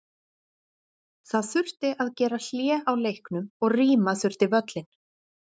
Það þurfti að gera hlé á leiknum og rýma þurfti völlinn.